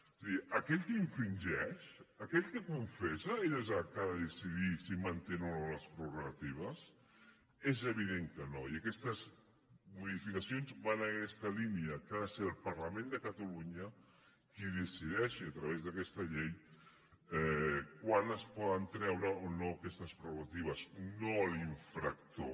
és a dir aquell que infringeix aquell que confessa és el que ha de decidir si manté o no les prerrogatives és evident que no i aquestes modificacions van en aquesta línia que ha de ser el parlament de catalunya qui decideixi a través d’aquesta llei quan es poden treure o no aquestes prerrogatives no l’infractor